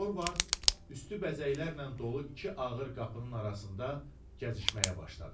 Dorvard üstü bəzəklərlə dolu iki ağır qapının arasında gəzişməyə başladı.